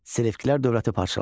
Selevkilər dövləti parçalandı.